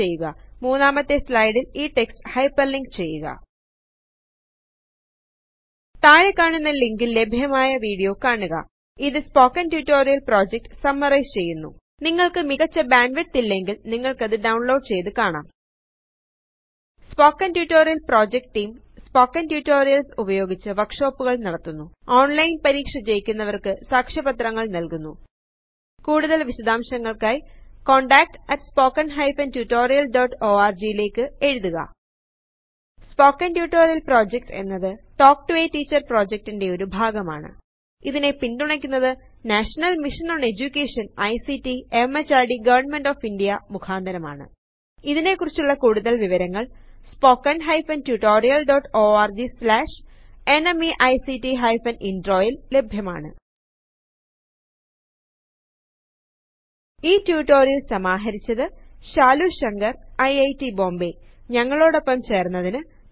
മുന്നാമത്തെ സ്ലയ്ദിൽ ഇ text hyperlink ചെയ്യുക താഴെക്കാണുന്ന ലിങ്കിൽ ലഭ്യമായ വീഡിയോ കാണുക ഇത് സ്പോകെൻ ടുടോറിയൽ പ്രോജെക്റ്റ് സമ്മറയിസ് ചെയ്യുന്നു നിങ്ങൾക്ക് മികച്ച ബാൻഡ്വിഡ്ത്ത് ഇല്ലെങ്കിൽ നിങ്ങൾക്കത് ഡൌൺലോഡ് ചെയ്ത് കാണാം spoken tutorial project team spoken tutorials ഉപയോഗിച്ച് വർക്ഷൊപ്പുകൾ നടത്തുന്നു ഓൺലൈൻ പരീക്ഷ ജയിക്കുന്നവർക്ക് സാക്ഷ്യപത്രങ്ങൾ നൽകുന്നു കൂടുതൽ വിശദാംശങ്ങൾക്കായി contactspoken tutorialorg ലേയ്ക്ക് എഴുതുക സ്പോക്കൻ ട്യൂട്ടോറിയൽ പ്രൊജക്ട് എന്നത് talk to a teacher project ൻറെ ഒരു ഭാഗമാണ് ഇതിനെ പിന്തുണയ്ക്കുന്നത് national mission on education ICT MHRD government of India മുഖാന്തരമാണ് ഇതിനെക്കുറിച്ചുള്ള കൂടുതൽ വിവരങ്ങൾ spoken hyphen tutorial dot org slash NMEICT hyphen intro യിൽ ലഭ്യമാണ് ഈ റ്റുറ്റൊരിഅൽ സമാഹരിച്ചത് ശാലു ശങ്കർ ഐറ്റ് ബോംബേ ഞങ്ങളോടൊപ്പം ചേർന്നതിന് നന്ദി